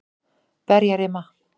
Berjarima